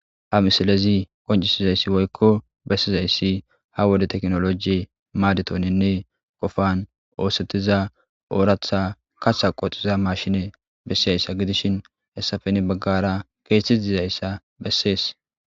ha misalezi qoncisizayssi woykko bessizayssi ha wode teknoloji maadetoninne qofan oosettiza ooratha kaththa qoxiza mashine bessizayssa gidishin hessafeni baggara keethethe dizayssa bessees